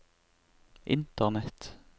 internett